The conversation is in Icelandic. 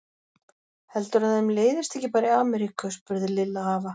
Heldurðu að þeim leiðist ekki bara í Ameríku? spurði Lilla afa.